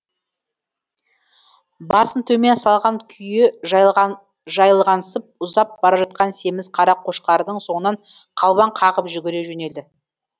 басын төмен салған күйі жайылғансып ұзап бара жатқан семіз қара қошқардың соңынан қалбаң қағып жүгіре жөнелді